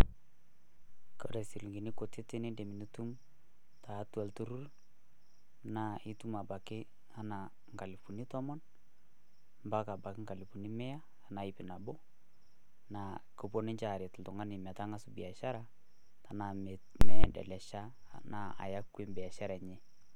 Kore silingini kutitik nidim nitum tiatua ilturruri naa itum apake enaa nkalifuni tomon mpaka nkalifuni mia enaa iip nabo. Naa kepuo ninche aaret oltung`ani metang`as biashara tenaa me endelesha aya kue biashara enye.